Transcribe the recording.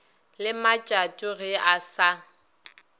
le matšato ge e sa